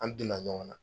An donna ɲɔgɔn na